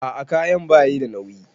A'a kayan bayi da nauyi.